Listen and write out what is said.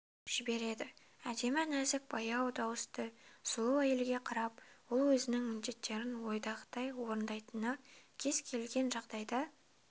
жібереді әдемі нәзік баяу дауысты сұлу әйелге қарап ол өзінің міндеттерін ойдағыдай орындайтынына кез-келген жағдайда